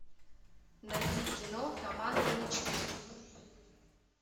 найди кино команда мечты